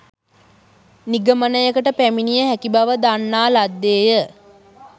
නිගමනයකට පැමිණිය හැකි බව දන්නා ලද්දේ ය.